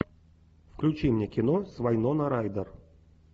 включи мне кино с вайнона райдер